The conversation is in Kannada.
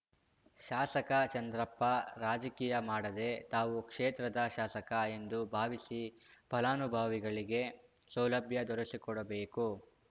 ಶಾಸಕ ಚಂದ್ರಪ್ಪ ರಾಜಕೀಯ ಮಾಡದೆ ತಾವು ಕ್ಷೇತ್ರದ ಶಾಸಕ ಎಂದು ಭಾವಿಸಿ ಫಲಾನುಭವಿಗಳಿಗೆ ಸೌಲಭ್ಯ ದೊರಸಿಕೊಡಬೇಕು